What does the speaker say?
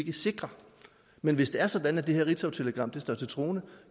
er sikre men hvis det er sådan at det her ritzautelegram står til troende